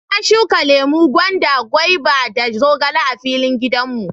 Na shuka lemu, gwanda, goba da zogale a filin gidan mu.